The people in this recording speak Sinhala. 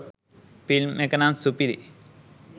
ෆිල්ම් එක නම් සුපිරි.